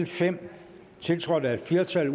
fem tiltrådt af et flertal